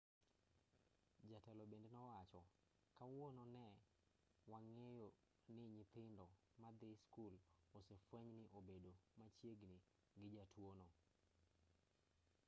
jatelo bende nowacho kawuono ne wang'eyoni nyithindo madhii skul osefwenyni ne obedo machiegini gi jatuono